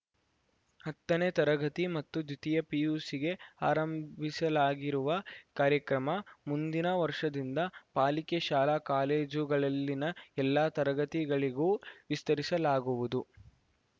ಹತ್ತನೇ ತರಗತಿ ಮತ್ತು ದ್ವಿತೀಯ ಪಿಯುಸಿಗೆ ಆರಂಭಿಸಲಾಗಿರುವ ಕಾರ್ಯಕ್ರಮ ಮುಂದಿನ ವರ್ಷದಿಂದ ಪಾಲಿಕೆ ಶಾಲಾ ಕಾಲೇಜುಗಳಲ್ಲಿನ ಎಲ್ಲ ತರಗತಿಗಳಿಗೂ ವಿಸ್ತರಿಸಲಾಗುವುದು